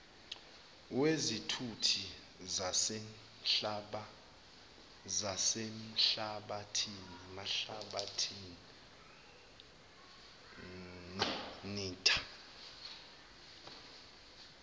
wezithuthi zasemhlabathini nltta